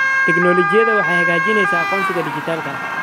Tiknoolajiyadu waxay hagaajinaysaa aqoonsiga dhijitaalka ah.